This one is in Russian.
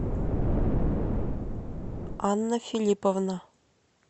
анна филипповна